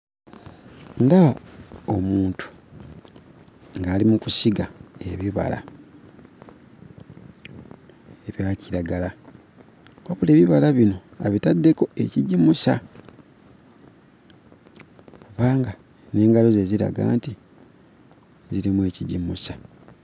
Ndaba omuntu ng'ali mu kusiga ebibala ebya kiragala wabula ebibala bino abitaddeko ekigimusa kubanga n'engalo ze ziraga nti zirimu ekigimusa.